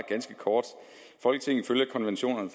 på